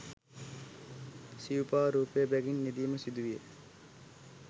සිවුපා රූපය බැගින් යෙදීම සිදුවිය